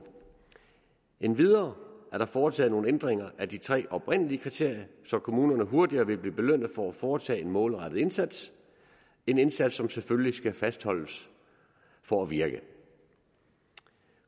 endvidere er der foretaget nogle ændringer af de tre oprindelige kriterier så kommunerne hurtigere vil blive belønnet for at foretage en målrettet indsats en indsats som selvfølgelig skal fastholdes for at virke